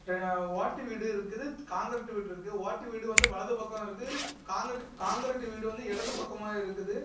அப்புற ஓட்டு வீடு இருக்குது காங்கிரட் வீடு இருக்கு ஓட்டு வீடு வந்து வலது பக்கம் இருக்கு காங்கிரட் காங்கிரட் வீடு வந்து இடது பக்கமா இருக்குது.